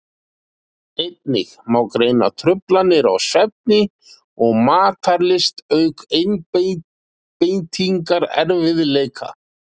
Einnig má greina truflanir á svefni og matarlyst auk einbeitingarerfiðleika.